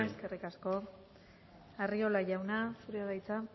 eskerrik asko arriola jauna zurea da hitza